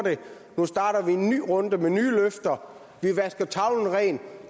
nu starter vi en ny runde med nye løfter vi vasker tavlen ren